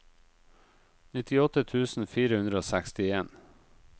nittiåtte tusen fire hundre og sekstien